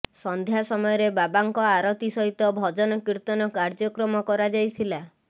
ସନ୍ଧ୍ୟା ସମୟରେ ବାବାଙ୍କ ଆରତୀ ସହିତ ଭଜନ କୀର୍ତ୍ତନ କାର୍ଯ୍ୟକ୍ରମ କରାଯାଇଥିଲା